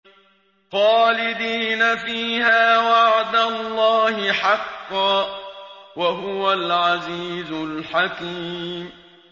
خَالِدِينَ فِيهَا ۖ وَعْدَ اللَّهِ حَقًّا ۚ وَهُوَ الْعَزِيزُ الْحَكِيمُ